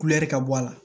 Kulɛri ka bɔ a la